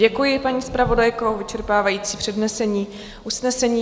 Děkuji, paní zpravodajko, za vyčerpávající přednesení usnesení.